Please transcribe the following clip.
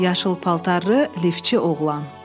Yaşıl paltarlı liftçi oğlan.